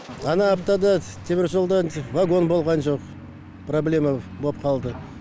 ана аптада теміржолда вагон болған жоқ проблема болып қалды